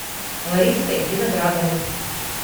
лариской виноградовой